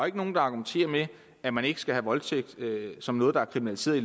ikke nogen der argumenterer med at man ikke skal have voldtægt som noget der er kriminaliseret i